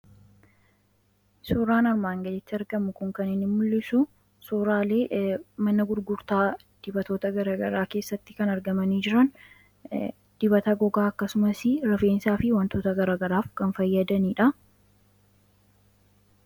suuraan armaan gaditti argamu kun kanini mul'isu suuraalee manna gurgurtaa dibatoota garagaraa keessatti kan argamanii jiran dibata gogaa akkasumas rifeensaa fi wantoota garagaraaf kan fayyadaniidha